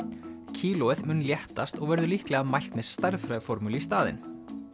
kílóið mun léttast og verður líklega mælt með stærðfræðiformúlu í staðinn